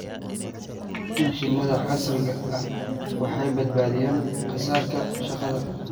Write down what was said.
Mashiinnada casriga ahi waxay badbaadiyaan kharashka shaqada.